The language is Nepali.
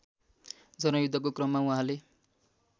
जनयुद्धको क्रममा उहाँले